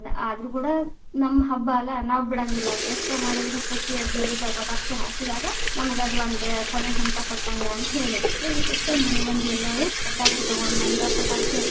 ಆದ್ರು ಕೂಡಾ ನಮ್ಮ ಹಬ್ಬಾ ಅಲ್ಲಾ ನಾವ ಬಿಡಂಗಿಲ್ಲ, ಎಷ್ಟ ಮಾಡಿದರನು ಖುಷಿಯಿಂದ ಇರುದನ ಪಟಾಕ್ಷಿ ಹಾರಸಿದಾಗ ಅದ ನಮ್ಗ ಅದ ಒಂದ ಕೊನೆ ಹಂತ ಕೊಟ್ಟಂಗ ಅಂತ ಹೇಳಿ, so ಅದಕ್ಕೊಸ್ಗರ ಮನೆ ಮಂದಿ ಎಲ್ಲಾರೂ ಪಟಾಕಿ ತಗೊಂಡ ಬಂದ ಪಟಾಕ್ಷಿ ಹಚ್ಚುದ.